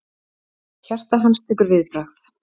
Hjarta hans tekur viðbragð.